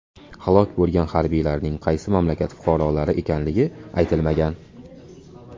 Halok bo‘lgan harbiylarning qaysi mamlakat fuqarolari ekanligi aytilmagan.